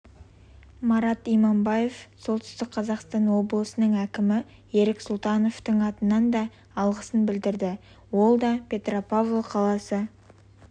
марат иманбаев солтүстік қазақстан облысының әкімі ерік сұлтановтың атынан да алғысын білдірді ол да петропавл қаласы